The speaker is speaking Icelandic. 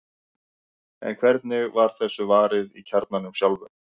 en hvernig var þessu varið í kjarnanum sjálfum